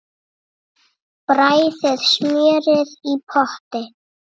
Bræðið smjörið í potti.